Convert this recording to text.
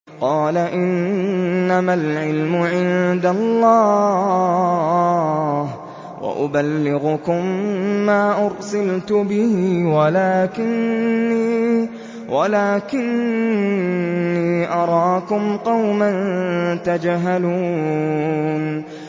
قَالَ إِنَّمَا الْعِلْمُ عِندَ اللَّهِ وَأُبَلِّغُكُم مَّا أُرْسِلْتُ بِهِ وَلَٰكِنِّي أَرَاكُمْ قَوْمًا تَجْهَلُونَ